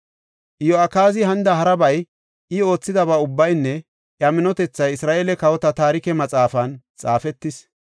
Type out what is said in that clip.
Iyo7akaazi hanida harabay, I oothidaba ubbaynne iya minotethay Isra7eele Kawota Taarike Maxaafan xaafetis.